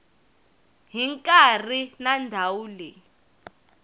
hi nkarhi na ndhawu leyi